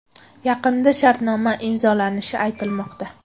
Yaqinda shartnoma imzolanishi aytilmoqda.